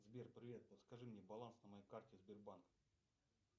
сбер привет подскажи мне баланс на моей карте сбербанк